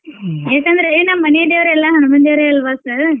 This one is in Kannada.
ಏಕಂದ್ರೆ ನಮ್ ಮನಿ ದೇವ್ರು ಎಲ್ಲಾ ಹನುಮಾನ್ ದೇವ್ರೇ ಅಲ್ವ sir .